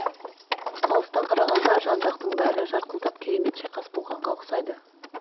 алыстан қарағанда жан жақтың бәрі жарқылдап керемет шайқас болғанға ұқсайды